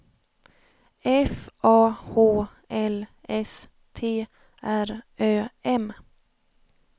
F A H L S T R Ö M